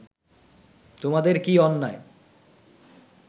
তোমাদের কি অন্যায়